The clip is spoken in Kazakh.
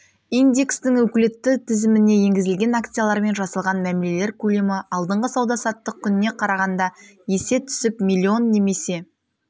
индекстің өкілетті тізіміне енгізілген акциялармен жасалған мәмілелер көлемі алдыңғы сауда-саттық күніне қарағанда есе түсіп млн немесе